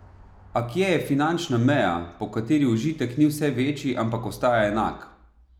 A kje je finančna meja, po kateri užitek ni vse večji, ampak ostaja enak?